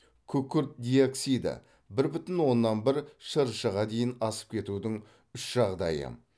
күкірт диоксиді бір бүтін оннан бір шрш ға дейін асып кетудің үш жағдайы